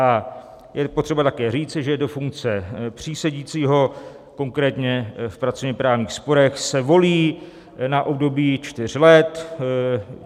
A je potřeba také říci, že do funkce přísedícího, konkrétně v pracovněprávních sporech, se volí na období čtyř let.